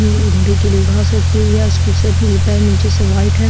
घोड़े के लिए घास रखी हुई है उसकी सर से पैर निचे से वाइट है।